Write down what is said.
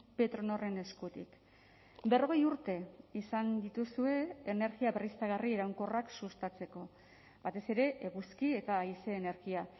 petronorren eskutik berrogei urte izan dituzue energia berriztagarri iraunkorrak sustatzeko batez ere eguzki eta haize energia